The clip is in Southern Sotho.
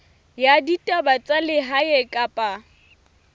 ya ditaba tsa lehae kapa